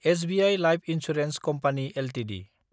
SBI life insurance company Ltd